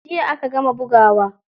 Jiya aka gama bugawa.